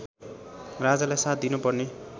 राजालाई साथ दिनुपर्ने